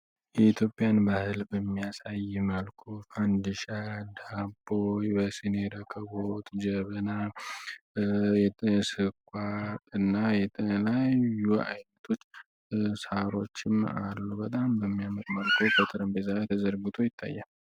የኢትዮጵያን ባህልብ የሚያሳይ መልኮ ፋንድሻ ዳፖይ በስኔ ረከቦት ጀብና የንስኳ እና የጠነላይ ዩ አይነቶች ሳሮችም አሉ በጣም በሚያመቅመርኮ ከጠረን ቤዛ ተዘርግቶ ይታየ